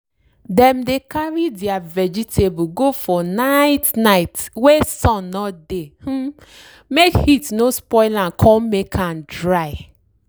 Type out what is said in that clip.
dem dey carry dere vegetable go for night night wey sun no dey um make heat no spoil am con make am dry.